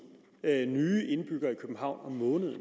nye indbyggere i københavn om måneden